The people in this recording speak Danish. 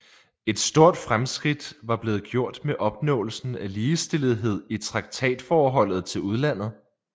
Et stort fremskridt var blevet gjort med opnåelsen af ligestillethed i traktatforholdet til udlandet